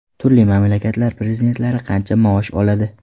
Turli mamlakatlar prezidentlari qancha maosh oladi?.